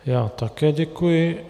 Já také děkuji.